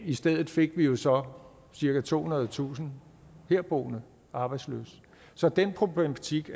i stedet fik vi jo så cirka tohundredetusind herboende arbejdsløse så den problematik